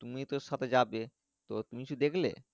তুমি তো ওর সাথে যাবে তো তুমি কিছু দেখলে।